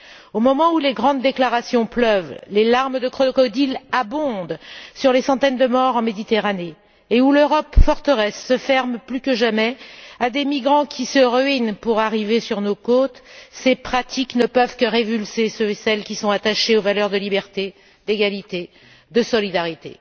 Au moment où les grandes déclarations pleuvent, où les larmes de crocodiles abondent sur les centaines de morts en Méditerranée, et où l'Europe forteresse se ferme plus que jamais à des migrants qui se ruinent pour arriver sur nos côtes, ces pratiques ne peuvent que révulser celles et ceux qui sont attachés aux valeurs de liberté, d'égalité et de solidarité.